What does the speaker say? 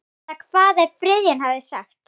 Eða hvað hefði Friðjón sagt?